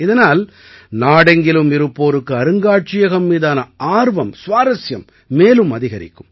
இதனால் நாடெங்கிலும் இருப்போருக்கு அருங்காட்சியகம் மீதான ஆர்வம் சுவாரசியம் மேலும் அதிகரிக்கும்